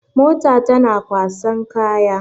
Mota tana kwasan kaya.